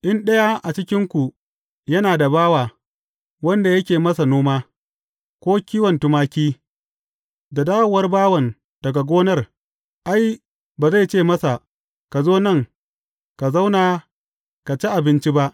In ɗaya a cikinku yana da bawa, wanda yake masa noma, ko kiwon tumaki, da dawowar bawan daga gonar, ai, ba zai ce masa, Ka zo nan, ka zauna, ka ci abinci ba’?